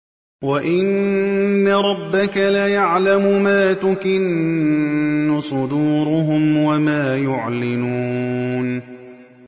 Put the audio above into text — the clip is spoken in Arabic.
وَإِنَّ رَبَّكَ لَيَعْلَمُ مَا تُكِنُّ صُدُورُهُمْ وَمَا يُعْلِنُونَ